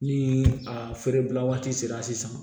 Ni a feerebila waati sera sisan